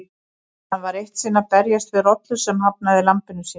Hann var eitt sinn að berjast við rollu sem hafnaði lambinu sínu.